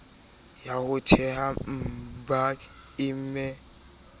ya ho theha mbm e